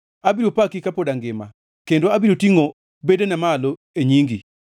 Abiro paki kapod angima, kendo abiro tingʼo bedena malo e nyingi.